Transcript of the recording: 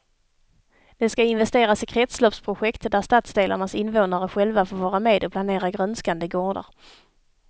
Det ska investeras i kretsloppsprojekt där stadsdelarnas invånare själva får vara med och planera grönskande gårdar.